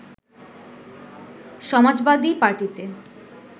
সমাজবাদী পার্টিতে